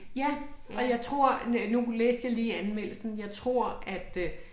Ja og jeg tror øh nu læste jeg lige anmeldelsen jeg tror at øh